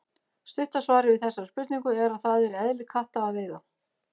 Stutta svarið við þessari spurningu er að það er í eðli katta að veiða.